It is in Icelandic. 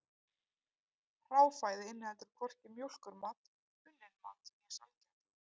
Hráfæði inniheldur hvorki mjólkurmat, unnin mat né sælgæti.